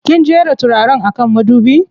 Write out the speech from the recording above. Kin jera turaren a kan madubi?